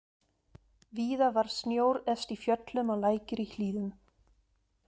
Víða var snjór efst í fjöllum og lækir í hlíðum.